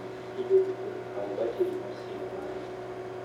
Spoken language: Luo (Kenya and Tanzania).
Kinde duto kaw batiri mar simo mari.